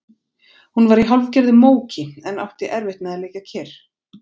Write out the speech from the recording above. Hún var í hálfgerðu móki en átti erfitt með að liggja kyrr.